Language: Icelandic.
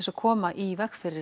að koma í veg fyrir